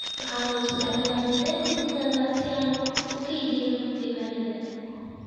Waxaan u isticmaalnaa nidaam dijital ah si aan u keydino diiwaannada.